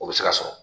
O bɛ se ka sɔrɔ